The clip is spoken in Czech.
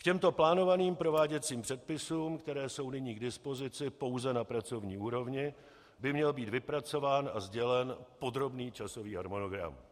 K těmto plánovaným prováděcím předpisům, které jsou nyní k dispozici pouze na pracovní úrovni, by měl být vypracován a sdělen podrobný časový harmonogram.